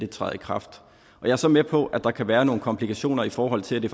træder i kraft jeg er så med på at der kan være nogle komplikationer i forhold til at det